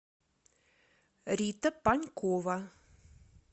рита панькова